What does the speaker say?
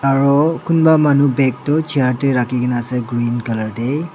aro kunba manu bag toh chair tae rakhikae na ase green colour tae.